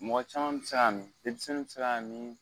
Mɔgɔ caman bi se ka mi , denmisɛnnin bi se ka mi